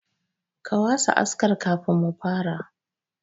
Ka wasa askar kafin mu fara.